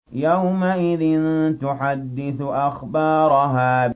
يَوْمَئِذٍ تُحَدِّثُ أَخْبَارَهَا